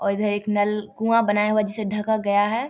और इधर एक नल कुआँ बनाया हुआ जिसे ढका गया है।